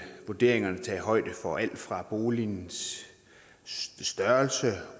vurderingerne tage højde for alt fra boligens størrelse